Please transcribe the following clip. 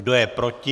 Kdo je proti?